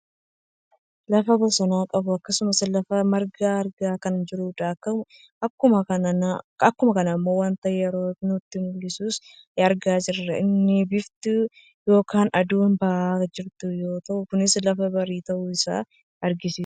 lafa bosonaa qabu akkasumas lafa margaa argaa kan jirruudha. Akkuma kana ammoo wanta yeroo nutti mu'isus argaa jirra. Innis biiftuu yookaan aduun bahaa kan jirtu yoo ta'u kuns lafa barii ta'uusaa kan agarsiisudha.